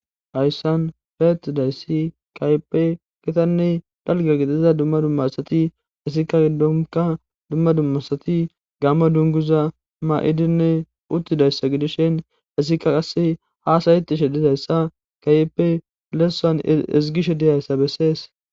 Hayssan feettidayssi kayepe kitanne dalga gixiza dumma dummasati hisikka giddonka dumma dummasati gamma dunguza maa'idinne uttidayssa gidishen hisika qase haasayti shedizayssa kayeppe leessan ezgishe dizayssa bessees.